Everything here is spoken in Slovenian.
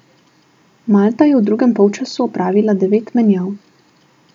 Malta je v drugem polčasu opravila devet menjav.